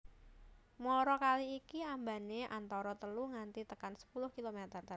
Muara kali iki ambane antara telu nganti tekan sepuluh kilometer